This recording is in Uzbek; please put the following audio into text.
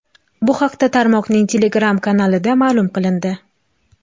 Bu haqda tarmoqning Telegram kanalida ma’lum qilindi.